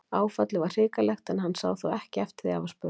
Áfallið var hrikalegt, en hann sá þó ekki eftir því að hafa spurt.